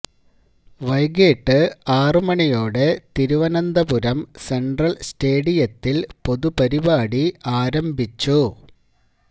വൈകിട്ട് ആറ് മണിയോടെ തിരുവനന്തപുരം സെന്ട്രല് സ്റ്റേഡിയത്തില് പൊതുപരിപാടി ആരംഭിച്ചു